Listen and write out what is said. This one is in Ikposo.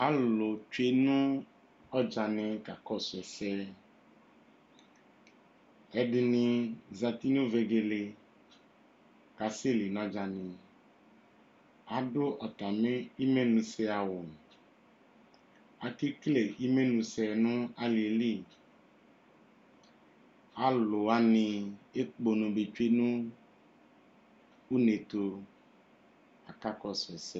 Alʋ tsuenu ɔdzani kakɔsʋ ɛsɛ ɛdini zati nʋ vegele kʋ aseli nʋ ɔdzani adʋ atami imenʋsɛ awʋ akekele imenʋsɛ nʋ ali yɛli alʋ wani ekpono be tsue nʋ unetʋ kʋ akakɔsʋ ɛsɛ